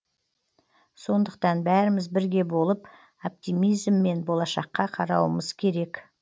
сондықтан бәріміз бірге болып оптимизммен болашаққа қарауымыз керек